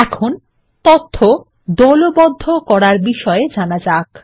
এখন তথ্য দলবদ্ধ করার বিষয়ে জানা যাক